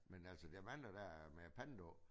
Men altså der mange der er med pant på